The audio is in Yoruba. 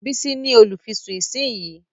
Bísí ní olùfisùn ìsínyìí